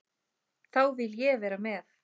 Þá vil ég vera með.